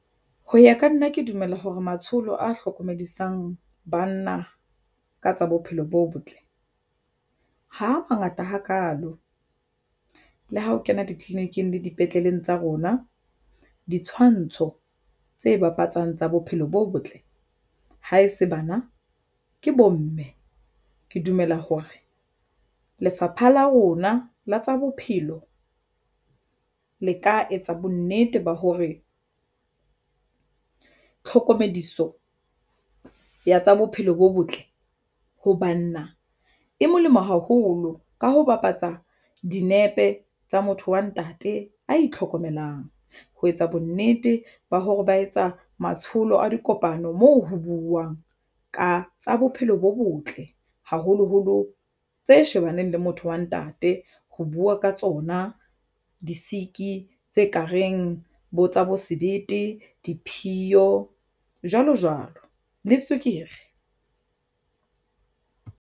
Ho ya ka nna ke dumela hore matsholo a hlokomedisang banna ka tsa bophelo bo botle ha mangata hakalo le ha o kena ditleliniking le dipetleleng tsa rona ditshwantsho tse bapatsang tsa bophelo bo botle ha e se bana ke bomme, ke dumela hore lefapha la rona la tsa bophelo le ka etsa bonnete ba hore tlhokomediso ya tsa bophelo bo botle ho banna e molemo haholo ka ho bapatsa dinepe tsa motho wa ntate a itlhokomelang ho etsa bonnete ba hore ba etsa matsholo a dikopano moo ho buuwang ka tsa bophelo bo botle haholoholo tse shebaneng le motho wa ntate ho buwa ka tsona di-sick tse kareng bo tsa bo sebete, diphiyo, jwalo jwalo le tswekere.